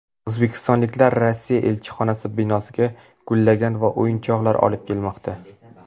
O‘zbekistonliklar Rossiya elchixonasi binosiga gullar va o‘yinchoqlar olib kelmoqda .